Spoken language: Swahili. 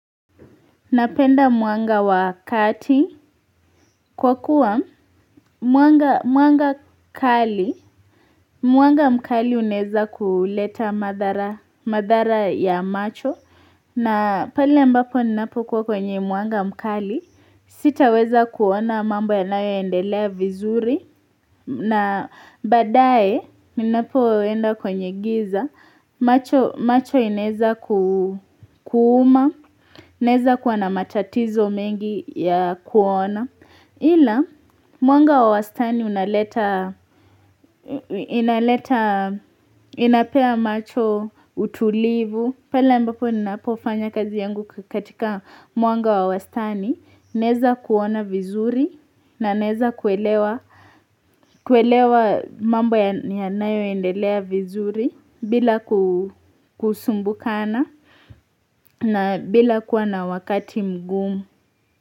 Napenda mwanga wa wakati kwa kuwa mwanga mwanga mkali Mwanga mkali uneza kuleta madhara madhara ya macho na pali ambapo ninapo kwa kwenye mwanga mkali Sitaweza kuona mambo yanayo endelea vizuri na badae ninapo enda kwenye giza macho macho inaweza kuuma naweza kuwa na matatizo mengi ya kuona Ila mwanga wa wastani inapea macho utulivu Pela ambapo ninapofanya kazi yangu katika mwanga wa wastani Naweza kuona vizuri na naweza kuelewa kuelewa mambo yanayo endelea vizuri bila kusumbukana na bila kuwa na wakati mgumu.